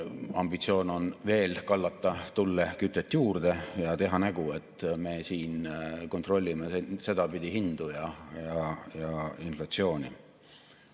Ambitsioon on veel kallata tulle kütet juurde ja teha nägu, et me kontrollime sedapidi hindu ja inflatsiooni.